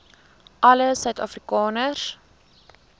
alle suid afrikaners